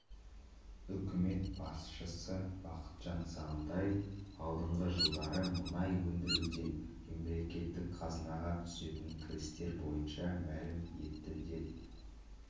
үкімет басшысы бақытжан сағынтаев алдағы жылдары мұнай өндіруден мемлекеттік қазынаға түсетін кірістер бойынша мәлім етті деп